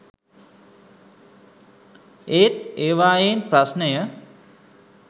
ඒත් ඒවායෙන් ප්‍රශ්නය